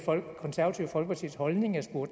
hvor